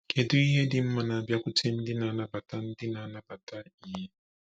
Kedu ihe dị mma na-abịakwute ndị na-anabata ndị na-anabata ìhè?